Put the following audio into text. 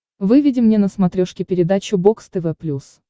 выведи мне на смотрешке передачу бокс тв плюс